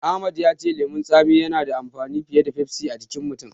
Ahmad ya ce lemon tsamiya yana da amfani fiye da Pepsi a jikin mutum.